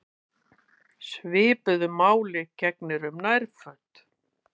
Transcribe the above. Svipuðu máli gegnir um nærföt.